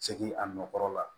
Segin a nɔ kɔrɔ la